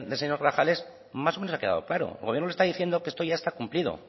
señor grajales más o menos ha quedado claro el gobierno está diciendo que esto ya está cumplido